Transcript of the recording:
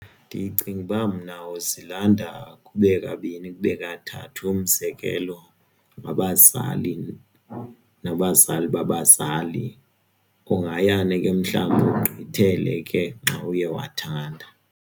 Ndicinga uba mna uzilanda kube kabini kube kathathu umzekelo wabazali nabazali babazali kungayani ke mhlawumbi ugqithele ke nxawuye wathanda.